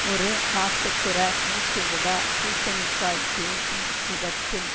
ஒரு நாட்டுப்புற மூச்சுவிடா பூசணிக்காய் பேசும் விதத்தில்